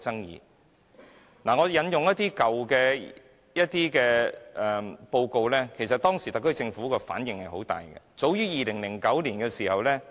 讓我引用一些較早期的報告來說明當時特區政府的反應其實是十分大的。